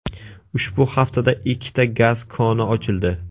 Ushbu haftada ikkita gaz koni ochildi.